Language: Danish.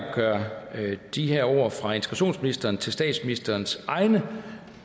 at gøre de her ord fra integrationsministeren til statsministerens egne